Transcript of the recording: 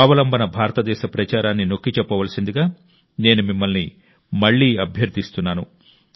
స్వావలంబన భారతదేశ ప్రచారాన్ని నొక్కి చెప్పవలసిందిగా నేను మిమ్మల్ని మళ్లీ అభ్యర్థిస్తున్నాను